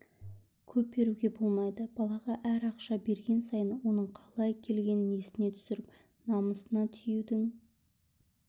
көп беруге болмайды балаға әр ақша берген сайын оның қалай келгенін есіне түсіріп намысына тиюдің